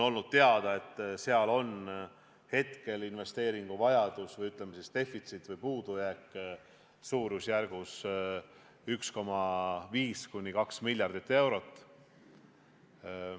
On teada, et hetkel on sealne investeeringuvajadus või, ütleme, puudujääk suurusjärgus 1,5–2 miljardit eurot.